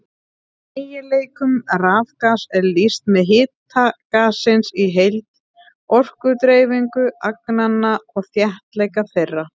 Eiginleikum rafgass er lýst með hita gassins í heild, orkudreifingu agnanna og þéttleika þeirra.